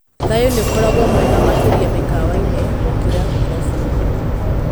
Thayũ nĩukoragwo mwega makĩria mĩkawainĩ gũkĩrũkia irabuinĩ.